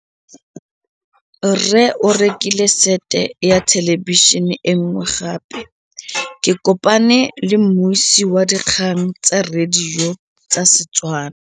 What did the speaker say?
Rre o rekile sete ya thêlêbišênê e nngwe gape. Ke kopane mmuisi w dikgang tsa radio tsa Setswana.